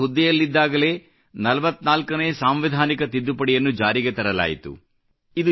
ಅವರು ಹುದ್ದೆಯಲ್ಲಿದ್ದಾಗಲೇ 44 ನೇ ಸಾಂವಿಧಾನಿಕ ತಿದ್ದುಪಡಿಯನ್ನು ಜಾರಿಗೆ ತರಲಾಯಿತು